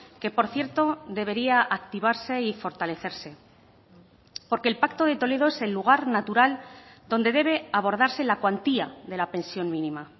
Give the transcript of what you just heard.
que por cierto debería activarse y fortalecerse porque el pacto de toledo es el lugar natural donde debe abordarse la cuantía de la pensión mínima